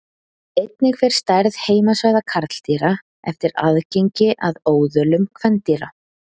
Einnig fer stærð heimasvæða karldýra eftir aðgengi að óðölum kvendýra.